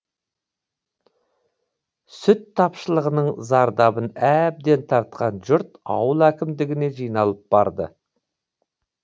сүт тапшылығының зардабын әбден тартқан жұрт ауыл әкімдігіне жиналып барды